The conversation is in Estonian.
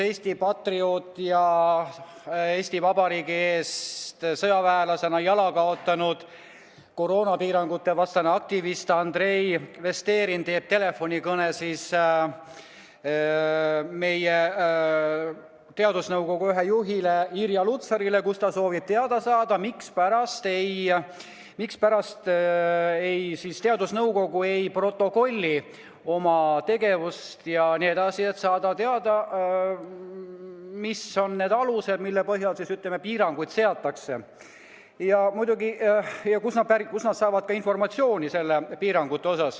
Eesti patrioot ja Eesti Vabariigi eest sõjaväelasena jala kaotanud koroonapiirangutevastane aktivist Andrei Vesterinen teeb telefonikõne meie teadusnõukoja ühele juhile Irja Lutsarile ja soovib teada saada, mispärast teadusnõukoda ei protokolli oma tegevust, et teada saada, mis on need alused, mille põhjal piiranguid seatakse, ja kust nad saavad informatsiooni piirangute kohta.